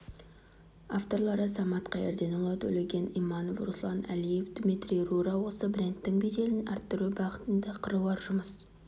авторлары самат қайырденұлы төлеген иманов руслан әлиев дмитрий рура осы брендтің беделін арттыру бағытында қыруар жұмыс